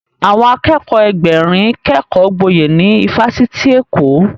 Àwọn Akẹ́kọ̀ọ́ Ẹgbẹ̀rin kékọ gboyè ní ifásitì Èkó